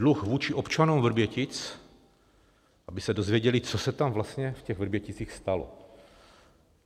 Dluh vůči občanům Vrbětic, aby se dozvěděli, co se tam vlastně v těch Vrběticích stalo.